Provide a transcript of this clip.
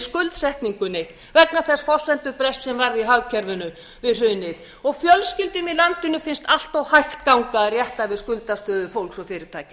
skuldsetningunni vegna þess forsendubrests sem varð í hagkerfinu við hrunið og fjölskyldum í landinu finnst allt of hægt ganga að rétta við skuldastöðu fólks og fyrirtækja